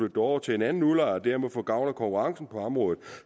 det over til en anden udlejer og dermed få gavn af konkurrencen på området